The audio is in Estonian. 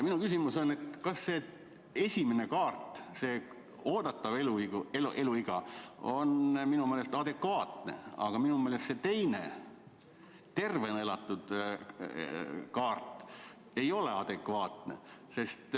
See esimene kaart, oodatav eluiga, on minu meelest adekvaatne, aga minu meelest see teine kaart, tervena elatud aastad, ei ole adekvaatne.